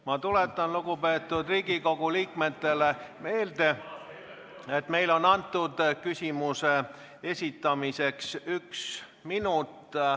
Ma tuletan lugupeetud Riigikogu liikmetele meelde, et meile on küsimuse esitamiseks antud üks minut.